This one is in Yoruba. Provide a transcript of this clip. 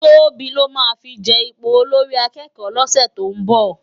Tobi lò má fi je ipó ólórì àkèkò lòsè tó n bò